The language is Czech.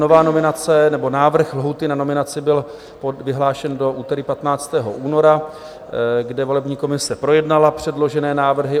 Nová nominace nebo návrh lhůty na nominaci byl vyhlášen do úterý 15. února, kdy volební komise projednala předložené návrhy.